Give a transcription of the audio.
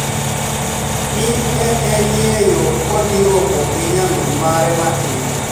ni e eni e yo kodhi romo gi niyamini mare matini.